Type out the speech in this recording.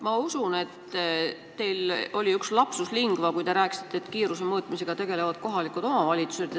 Ma usun, et teil oli üks lapsus lingua, kui te rääkisite, et kiiruse mõõtmisega tegelevad kohalikud omavalitsused.